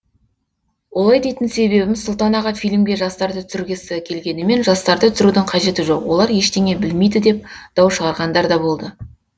олай дейтін себебім сұлтан аға фильмге жастарды түсіргісі келгенімен жастарды түсірудің қажеті жоқ олар ештеңе білмейді деп дау шығарғандар да болды